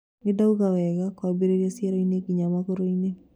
Ndiaiguaga wega kwambirĩria cieroinĩ nginya magoroinĩ